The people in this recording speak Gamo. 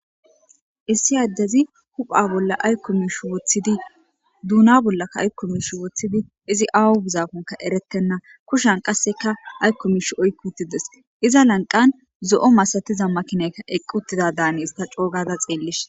Issi addezi hupha bolla ayikko misha woththidi doona bollakka ayikko misha woththidi izi awu gusakoneka eretenna. Kushan qasseka ayikko misha oyikk utti des .Iza lanqen zo'o masatiza makinayka eqqi uttidadaani issta coo gada xeellishin.